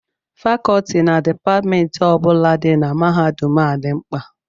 Fakọọti na Dipatmentị ọ bụla dị na mahadum a dị mkpa